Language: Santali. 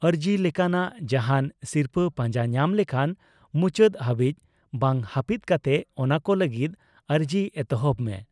ᱟᱨᱡᱤ ᱞᱮᱠᱟᱱᱟᱜ ᱡᱟᱦᱟᱸᱱ ᱥᱤᱨᱯᱟᱹ ᱯᱟᱸᱡᱟ ᱧᱟᱢ ᱞᱮᱠᱷᱟᱱ, ᱢᱩᱪᱟᱹᱫ ᱦᱟᱹᱵᱤᱡ ᱵᱟᱝ ᱦᱟᱯᱤᱫ ᱠᱟᱛᱮ ᱚᱱᱟᱠᱚ ᱞᱟᱹᱜᱤᱫ ᱟᱨᱡᱤ ᱮᱛᱚᱦᱚᱵ ᱢᱮ ᱾